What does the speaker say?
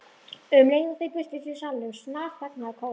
Um leið og þeir birtust í salnum snarþagnaði kórinn.